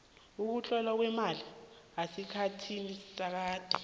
ukutlolwa kwamalimi esikhathini sakade